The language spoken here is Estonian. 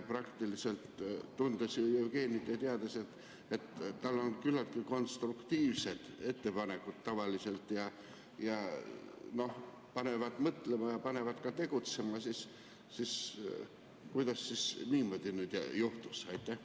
Tundes Jevgenit ja teades, et tal on tavaliselt küllaltki konstruktiivsed ettepanekud, mis panevad mõtlema ja tegutsema, siis kuidas nüüd niimoodi juhtus?